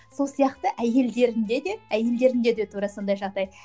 сол сияқты әйелдерінде де әйелдерінде де тура сондай жағдай